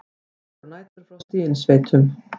Líkur á næturfrosti í innsveitum